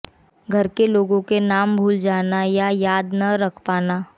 घर के लोगों के नाम भूल जाना या याद न रख पाना